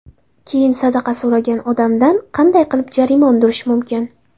Keyin, sadaqa so‘ragan odamdan qanday qilib jarima undirish mumkin?